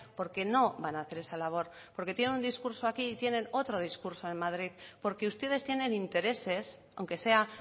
porque no van a hacer esa labor porque tienen un discurso aquí y tienen otro discurso en madrid porque ustedes tienen intereses aunque sea